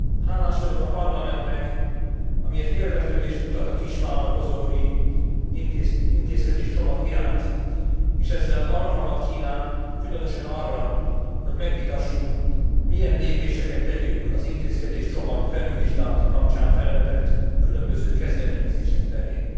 Hálás vagyok a Parlamentnek, amiért érdeklődést mutat a kisvállalkozói intézkedéscsomag iránt, és ezzel alkalmat kínál különösen arra, hogy megvitassuk milyen lépéseket tegyünk az intézkedéscsomag felülvizsgálata kapcsán felvetett különböző kezdeményezések terén.